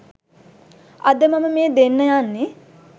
අද මම මේ දෙන්න යන්නේ